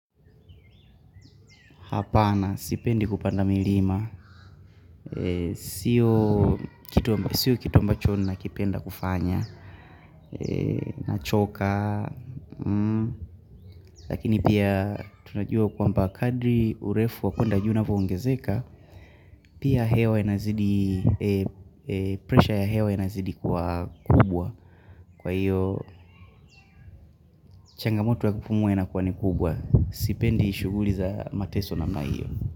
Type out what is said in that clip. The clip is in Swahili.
Hapana, sipendi kupanda milima, sio kitu ambacho nakipenda kufanya, nachokaa lakini pia tunajua kwamba kadri urefu wa kwenda juu unavo ongezeka, pia hewa inazidi, pressure ya hewa inazidi kuwa kubwa, kwa hiyo changamoto ya kupumuwa inakuwa ni kubwa, sipendi shughuli za mateso namna hiyo.